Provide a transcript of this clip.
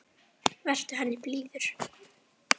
Vertu henni blíður.